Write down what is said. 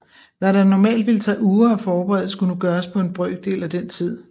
Hvad der normalt ville tage uger at forberede skulle nu gøres på en brøkdel af den tid